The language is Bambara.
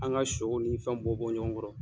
An ka sɔw ni fɛn bɔ bɔ ɲɔgɔn kɔrɔ.